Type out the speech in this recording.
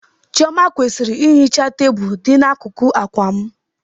Chioma kwesịrị ihicha tebụl dị n'akụkụ akwa m.